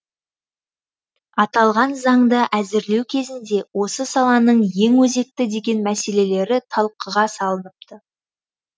аталған заңды әзірлеу кезінде осы саланың ең өзекті деген мәселелері талқыға салыныпты